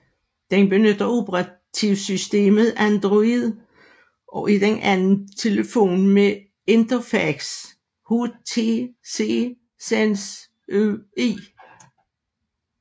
Den benytter operativsystemet Android og er den anden telefon med interfacet HTC Sense UI